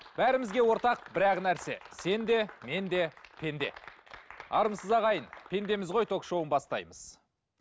бәрімізге ортақ бір ақ нәрсе сен де мен де пенде армысыз ағайын пендеміз ғой ток шоуын бастаймыз